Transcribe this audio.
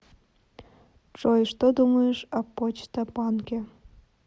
джой что думаешь об почта банке